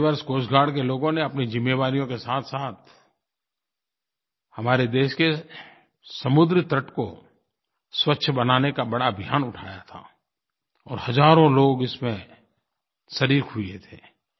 पिछले वर्ष coast guard के लोगों ने अपनी जिम्मेवारियों के साथसाथ हमारे देश के समुद्र तट को स्वच्छ बनाने का बड़ा अभियान उठाया था और हज़ारों लोग इसमें शरीक़ हुए थे